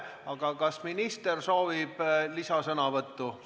Aga kas minister soovib lisasõnavõttu?